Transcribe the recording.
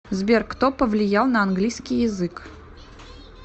сбер кто повлиял на английский язык